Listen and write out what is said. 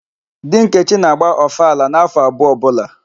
Di Nkechi na-agba ọfala n'áfọ̀ abụọ ọbụla.